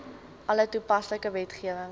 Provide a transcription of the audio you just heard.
alle toepaslike wetgewing